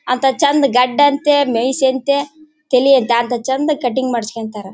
ಅಂತ ಚಂದ್ ಗಡ್ಡ ಅಂತೆ ಮೀಸೆ ಅಂತೆ ತಲಿ ಅಂತೆ ಅಂತ ಚಂದ ಕಟಿಂಗ್ ಮಾಡ್ಸ್ಕೊಳತ್ತಾರೆ.